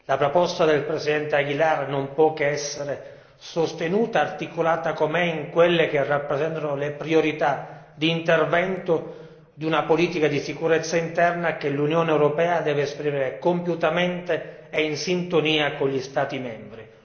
La proposta del presidente Aguilar non può che essere sostenuta, articolata com'è in quelle che rappresentano le priorità di intervento di una politica di sicurezza interna che l'Unione europea deve esprimere compiutamente e in sintonia con gli Stati membri.